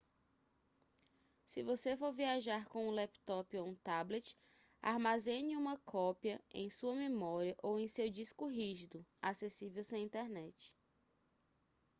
se você for viajar com um laptop ou um tablet armazene uma cópia em sua memória ou em seu disco rígido acessível sem internet